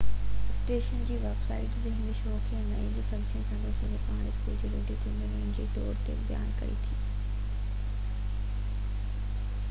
station جي website هن show کي نئين ۽ فحش گيڪي اسپن سان پراڻي اسڪول جي ريڊيو ٿيٽر جي طور تي بيان ڪري ٿي